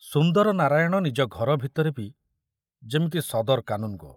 ସୁନ୍ଦର ନାରାୟଣ ନିଜ ଘର ଭିତରେ ବି ଯେମିତି ସଦର କାନୁନଗୋ!